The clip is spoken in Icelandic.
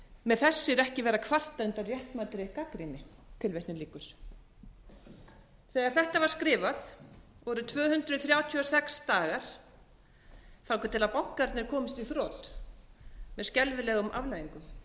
með þessu er ekki verið að kvarta undan réttmætri gagnrýni þegar þetta var skrifað voru tvö hundruð þrjátíu og sex dagar þangað til bankarnir komust í þrot með skelfilegum afleiðingum